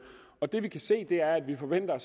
det vi kan se er at vi forventer